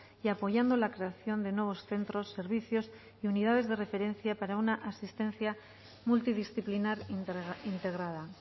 y apoyando la creación de nuevos centros servicios y unidades de referencia para una asistencia multidisciplinar integrada